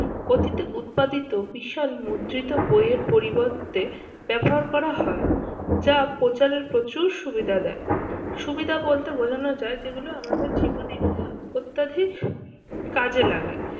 অতীতে উৎপাদিত বিশাল মুদ্রিত বইয়ের পরিবর্তে ব্যবহার করা হয় যা প্রচারের প্রচুর সুবিধা দেয়। সুবিধা বলতে বোঝানো যায় যেগুলো আমাদের জীবনে অত্যাধিক কাজে লাগে।